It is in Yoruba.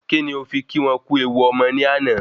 Kí ni o fi kí wọ́n kú ewu ọmọ ni ana